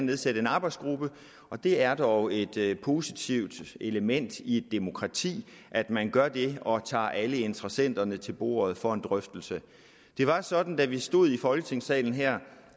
nedsætte en arbejdsgruppe og det er dog et positivt element i et demokrati at man gør det og tager alle interessenterne til bordet for en drøftelse det var sådan da vi stod i folketingssalen her